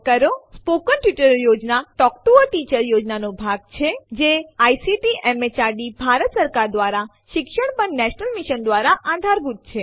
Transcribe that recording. મૌખિક ટ્યુટોરીયલ યોજના એ ટોક ટુ અ ટીચર યોજનાનો ભાગ છે જે આઇસીટીએમએચઆરડીભારત સરકાર દ્વારા શિક્ષણ પર નેશનલ મિશન દ્વારા આધારભૂત છે